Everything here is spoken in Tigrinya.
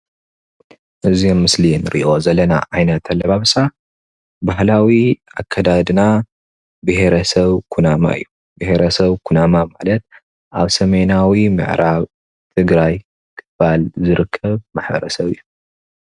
እዚ ኣብ ምስል ንርኦ ዘለና ዓይነት ኣለባብሳ ባህላዊ ኣካዳድና ብሄረሰብ ኩናማ እዩ ።ብሕረሰብ ኩናማ ማለት ኣብ ሰሜናዊ ምዕራብ ትግራይ ክፋል ዝርከብ ማሕበረ ሰብ እዩ።